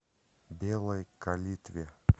белой калитве